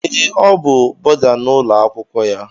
Ee Ọ bú bọda n'ụlọ akwụkwọ ya.